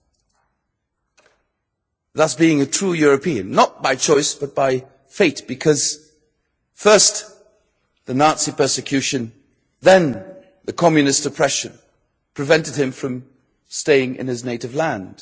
He was thus a true European, not by choice but by fate because first the Nazi persecution then the Communist oppression prevented him from staying in his native land.